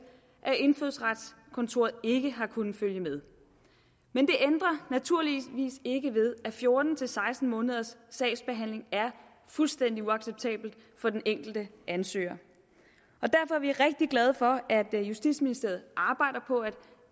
at indfødsretskontoret ikke har kunnet følge med men det ændrer naturligvis ikke ved at fjorten til seksten måneders sagsbehandling er fuldstændig uacceptabelt for den enkelte ansøger og derfor er vi rigtig glade for at justitsministeriet arbejder på at